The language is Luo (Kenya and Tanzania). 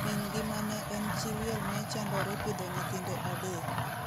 Mingi mane en chi liel ne chandore pidho nyithinde adek.